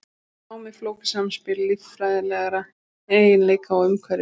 Nám er flókið samspil líffræðilegra eiginleika og umhverfis.